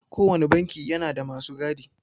Kowanne banki yana da masu gadi.